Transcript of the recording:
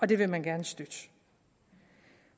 det vil man gerne støtte